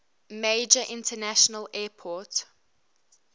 major international airport